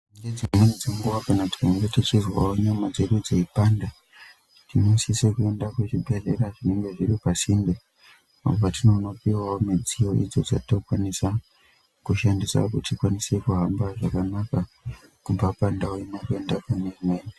Nedzimweni dzenguwa kana tichizwa nyama dzedu dzeipanda tinosisire kuende kuzvibhehlera, zvinenge zviri pasinde apo tinonopihwa midziyo idzo tinokwanisa kuti tihambe kubva pandau imweni kuende pane imweni.